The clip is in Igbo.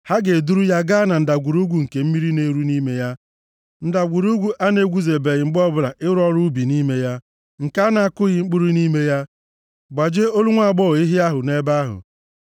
ha ga-eduru ya gaa na ndagwurugwu nke mmiri na-eru nʼime ya, ndagwurugwu a na-egwuzebeghị mgbe ọbụla ịrụ ọrụ ubi nʼime ya, nke a na-akụghị mkpụrụ nʼime ya, gbajie olu nwaagbọghọ ehi ahụ nʼebe ahụ.